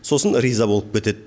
сосын риза болып кетеді